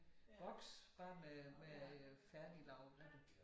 Boks bare med med øh færdiglavede retter